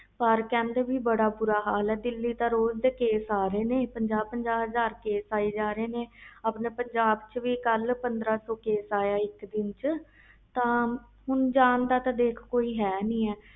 ਪਰ ਕਹਿੰਦੇ ਬਹੁਤ ਬੁਰਾ ਹਾਲ ਆ ਦਿਲੀ ਵਿਚ ਰੋਜ਼ ਕੇਸ ਆ ਰਹੇ ਨੇ ਪੰਜਾਹ ਪੰਜਾਹਕੇਸ ਆ ਰਹੇ ਨੇ ਆਪਣੇ ਪੰਜਾਬ ਵਿਚ ਕਲ ਪੰਦਰਾਂ ਸੌ ਕੇਸ ਆਇਆ ਇਕ ਦੀ ਵਿਚ ਤਾ ਹੁਣ ਜਾਨ ਦਾ ਕੋਈ ਹੈ ਨਹੀਂ